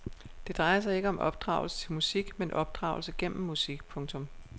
Det drejer sig ikke om opdragelse til musik men opdragelse gennem musik. punktum